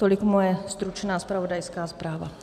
Tolik moje stručná zpravodajská zpráva.